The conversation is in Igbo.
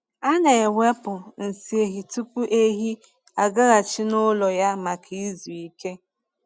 A na-ewepụ nsị ehi tupu ehi agaghachi n’ụlọ ya maka izu ike.